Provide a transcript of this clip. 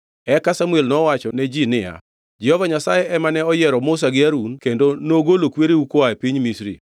Eka Samuel nowachone ji niya, “Jehova Nyasaye ema ne oyiero Musa gi Harun kendo nogolo kwereu koa e piny Misri.